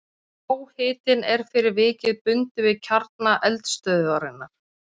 háhitinn er fyrir vikið bundinn við kjarna eldstöðvarinnar